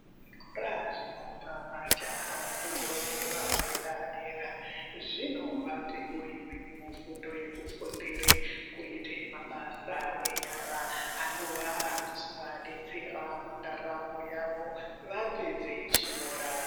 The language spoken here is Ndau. Kora zvinopa majaha fundo yepadera dera zvinovapewo imweni mufundo yekufundire kuite mabasa enyara anowa anozowadetsera mundaramo yawo wapedze chikora.